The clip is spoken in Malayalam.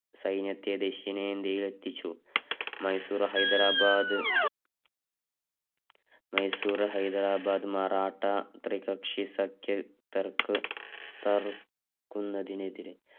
സൈന്യയത്തെ ദക്ഷിണേന്ത്യയിൽ എത്തിച്ചു. മശൂർ ഹൈദരാബാദ്‌ മൈസൂര്‍ ഹൈദരാബാദ് മറാഠാ തൃപ്പക്ഷാ സഖ്യതർക്ക് തറുകുന്നതിനെതിരെ